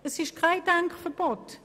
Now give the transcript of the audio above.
Es ist kein Denkverbot.